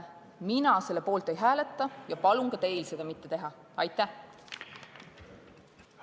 Mina selle poolt ei hääleta ja palun ka teil seda mitte teha!